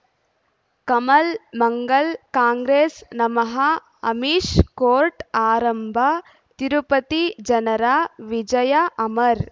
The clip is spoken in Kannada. ಕಮಲ್ ಮಂಗಳ್ ಕಾಂಗ್ರೆಸ್ ನಮಃ ಅಮಿಷ್ ಕೋರ್ಟ್ ಆರಂಭ ತಿರುಪತಿ ಜನರ ವಿಜಯ ಅಮರ್